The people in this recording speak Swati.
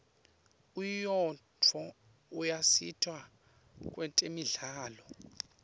unyiotfo uyasita kwetemidlalo